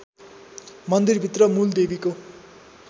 मन्दिरभित्र मूल देवीको